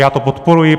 Já to podporuji.